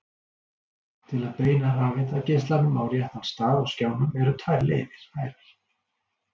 Til að beina rafeindageislanum á réttan stað á skjánum eru tvær leiðir færar.